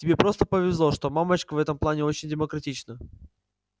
тебе просто повезло что мамочка в этом плане очень демократична